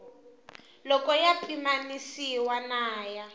loko ya pimanisiwa na ya